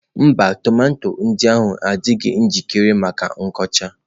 Mba, tomato ndị a adịghị njikere maka ịkụcha